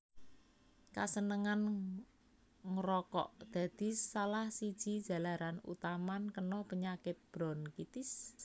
Kasenengan ngrokok dadi salah siji jalaran utaman kena penyakit bronkitis